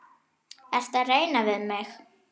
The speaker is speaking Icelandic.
Ertu að reyna við mig?